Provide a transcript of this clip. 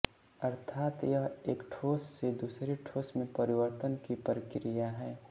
अर्थात यह एक ठोस से दूसरे ठोस में परिवर्तन की प्रक्रिया है